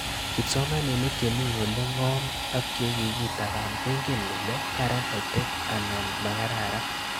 Kipsomanik che mii ole ng'om ak che kikitaban koingen kole karan EdTech anan ma kararn